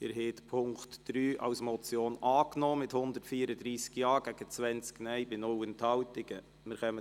Sie haben den Punkt 3 mit 134 Ja- zu 20 Nein-Stimmen bei 0 Enthaltungen als Motion angenommen.